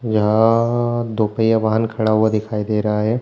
यहाँ दो पहिया वाहन खड़ा हुआ दिखाई दे रहा है।